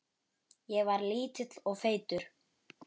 Ég var lítill og feitur.